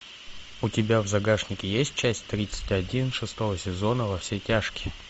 у тебя в загашнике есть часть тридцать один шестого сезона во все тяжкие